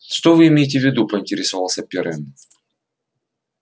что вы имеете в виду поинтересовался пиренн